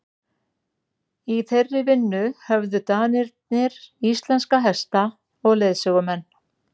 í þeirri vinnu höfðu danirnir íslenska hesta og leiðsögumenn